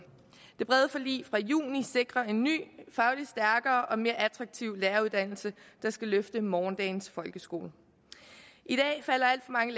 det brede forlig fra juni sikrer en ny fagligt stærkere og mere attraktiv læreruddannelse der skal løfte morgendagens folkeskole i dag falder alt for mange